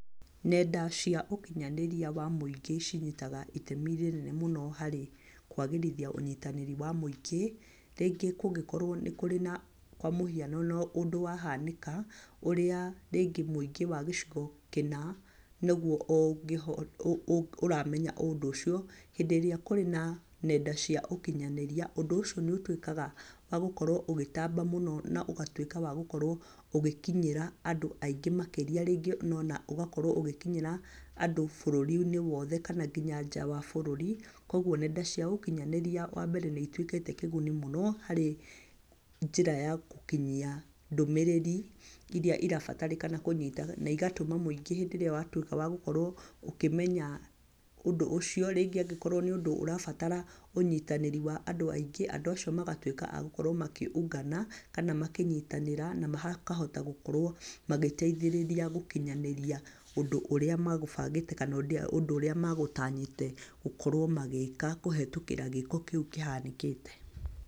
Nenda cia ũkinyanĩria wa mũingĩ cinyitaga itemi rĩnene mũno harĩ kwagĩrithia ũnyitanĩri wa mũingĩ. Rĩngĩ kũngĩkorwo nĩ kũrĩ na , kwa mũhiano ũndũ wa hanĩka, ũrĩa rĩngĩ mũingĩ wa gĩcigo kĩna nĩguo ũramenya ũndũ ũcio, hĩndĩ ĩrĩa kũrĩ na nenda cia ũkinyanĩria, ũndũ ũcio nĩ ũtuĩkaga wa gũkorwo ũgĩtamba mũno, na ũgatuĩka wa gũkorwo ũgĩkinyĩra andũ aingĩ makĩria. Rĩngĩ ona ũgakorwo ũgĩkinyĩra andũ bũrũri-inĩ wothe, kana nginya nja wa bũrũri. Koguo nenda cia ũkinyanĩria wa mbere nĩ ituĩkĩte kĩguni mũno harĩ njĩra ya gũkinyia ndũmĩrĩri irĩa irabatarĩkana kũnyita, na igatũma mũingĩ hĩndĩ irĩa wa tuĩka wa gũkorwo ũkĩmenya ũndũ ũcio rĩngĩ angĩkorwo nĩ ũndũ ũrabatara ũnyitanĩri wa andũ aingĩ, andũ acio magatuĩka a gũkorwo makĩ- ungana, kana makĩnyitanĩra, na makahota gũkorwo magĩteithirĩria gũkinyanĩria ũndũ ũrĩa magũbangĩte, kana ũndũ ũrĩa magũtanyĩte gũkorwo magĩĩka kũhetũkĩra gĩĩko kĩu kĩhanĩkĩte.